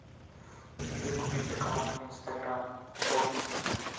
где купить аккаунт инстаграм брут